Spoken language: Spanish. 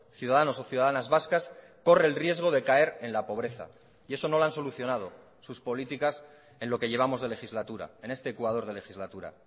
ciudadanos o ciudadanas vascas corre el riesgo de caer en la pobreza y eso no lo han solucionado sus políticas en lo que llevamos de legislatura en este ecuador de legislatura